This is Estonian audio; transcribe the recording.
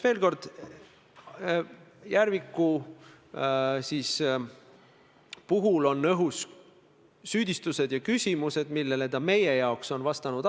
Kui teil neid materjale ei ole, siis on ainus võimalus öeldu proua Kallase poolt avalikult ümber lükata ja vabandada.